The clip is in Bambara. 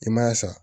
I ma sa